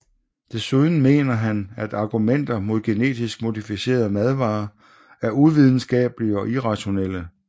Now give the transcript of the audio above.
Desuden mener han at argumenter imod genetisk modificerede madvarer er uvidenskabelige og irrationelle